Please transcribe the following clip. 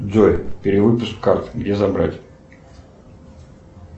джой перевыпуск карт где забрать